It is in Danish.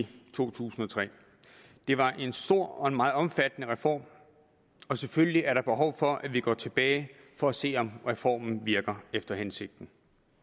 i to tusind og tre det var en stor og meget omfattende reform og selvfølgelig er der behov for at vi går tilbage for at se om reformen virker efter hensigten